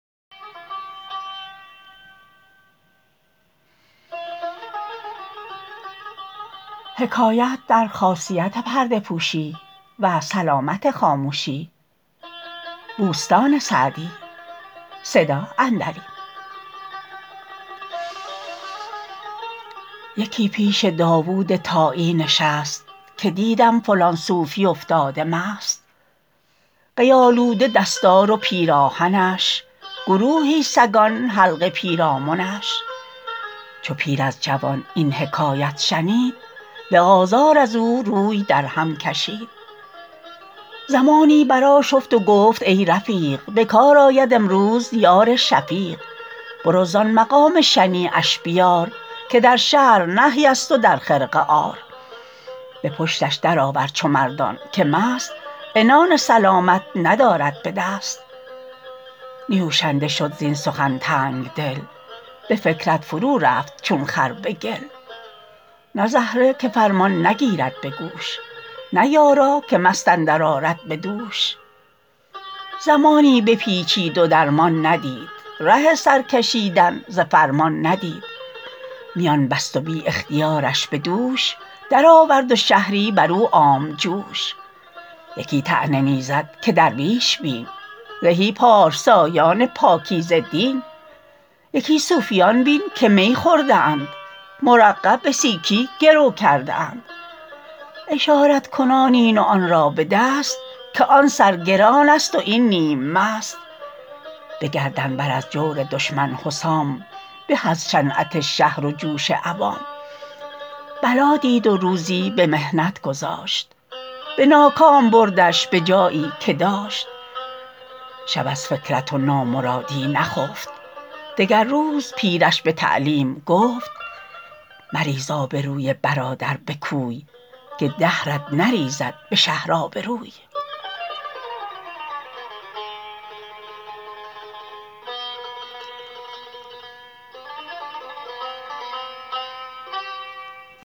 یکی پیش داود طایی نشست که دیدم فلان صوفی افتاده مست قی آلوده دستار و پیراهنش گروهی سگان حلقه پیرامنش چو پیر از جوان این حکایت شنید به آزار از او روی در هم کشید زمانی بر آشفت و گفت ای رفیق به کار آید امروز یار شفیق برو زآن مقام شنیعش بیار که در شرع نهی است و در خرقه عار به پشتش در آور چو مردان که مست عنان سلامت ندارد به دست نیوشنده شد زین سخن تنگدل به فکرت فرو رفت چون خر به گل نه زهره که فرمان نگیرد به گوش نه یارا که مست اندر آرد به دوش زمانی بپیچید و درمان ندید ره سر کشیدن ز فرمان ندید میان بست و بی اختیارش به دوش در آورد و شهری بر او عام جوش یکی طعنه می زد که درویش بین زهی پارسایان پاکیزه دین یکی صوفیان بین که می خورده اند مرقع به سیکی گرو کرده اند اشارت کنان این و آن را به دست که آن سر گران است و این نیم مست به گردن بر از جور دشمن حسام به از شنعت شهر و جوش عوام بلا دید و روزی به محنت گذاشت به ناکام بردش به جایی که داشت شب از فکرت و نامرادی نخفت دگر روز پیرش به تعلیم گفت مریز آبروی برادر به کوی که دهرت نریزد به شهر آبروی